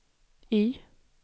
Y